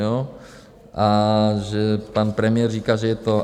Jo a že pan premiér říká, že je to...